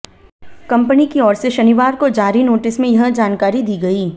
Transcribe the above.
company की ओर से शनिवार को जारी नोटिस में यह जानकारी दी गई